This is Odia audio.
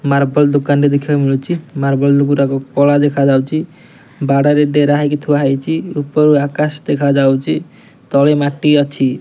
ମାର୍ବଲ୍ ଦୋକାନଟେ ଦେଖିବାକୁ ମିଳୁଚି ମାର୍ବଲ୍ ଗୁରାକ କଳା ଦେଖାଯାଉଚି ବାଡାରେ ଡେରା ହେଇକି ଥୁଆ ହେଇଚି ଉପରୁ ଆକାଶ ଦେଖା ଯାଉଚି ତଳେ ମାଟି ଅଛି।